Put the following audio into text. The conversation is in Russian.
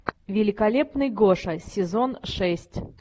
великолепный гоша сезон шесть